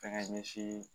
Fɛnkɛ ɲɛsin